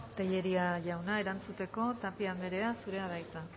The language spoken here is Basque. tellería jauna erantzuteko tapia andrea zurea da hitza